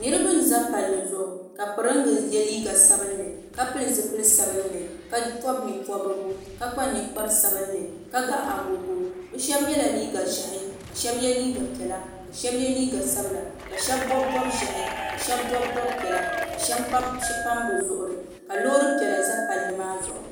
Niriba n za palli zuɣu ka piringa ye liiga sabinli ka pili zipil'sabinli ka pobi nye'pobrigu ka kpa ninkpari sabinli ka ga agogo sheba yela liiga ʒehi ka sheba ye liiga piɛla ka sheba ye liiga sabla ka sheba bobi bob'ʒehi ka sheba bobi bob'piɛla ka sheba pam bɛ zuɣuri ka loori piɛla za palli maa zuɣu.